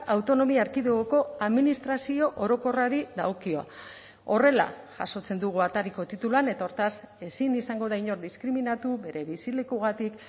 autonomia erkidegoko administrazio orokorrari dagokio horrela jasotzen dugu atariko tituluan eta hortaz ezin izango da inor diskriminatu bere bizilekugatik